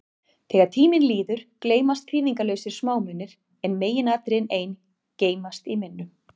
Þegar tími líður, gleymast þýðingarlausir smámunir, en meginatriðin ein geymast í minnum.